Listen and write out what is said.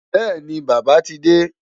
Bẹ́ẹ̀ni, Bàbá ti dé.